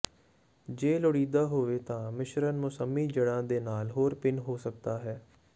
ਜੇ ਲੋੜੀਦਾ ਹੋਵੇ ਤਾਂ ਮਿਸ਼ਰਣ ਮੌਸਮੀ ਜੜ੍ਹਾਂ ਦੇ ਨਾਲ ਹੋਰ ਭਿੰਨ ਹੋ ਸਕਦਾ ਹੈ